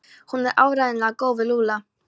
Hún er áreiðanlega góð við Lúlla.